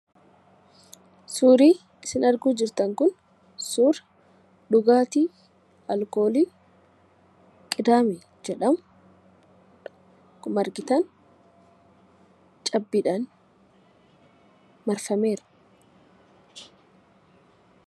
Suurri isin arguu jirtan kun suura dhugaatii alkoolii 'Qidaamee' jedhamu ,akkuma argitan cabbiidhaan marfameera.